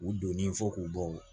U donnen fo k'u bɔ